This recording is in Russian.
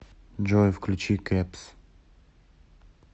джой включи кэпс